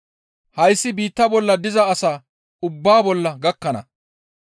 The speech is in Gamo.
Hayssi biitta bollan diza asaa ubbaa bolla gakkana.